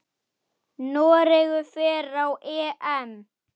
Noregur fer á EM.